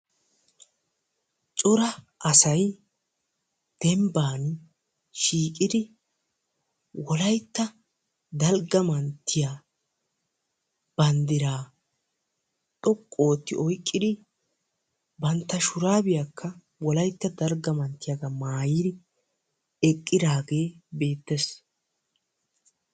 cora asay dembban shiiqidi wolaytta dalga manttiya banddiraa xoqqu oottidi bantta shurabiyaaka wolaytta dalgga manttiyaagaa maayidi eqqidaagee beettees.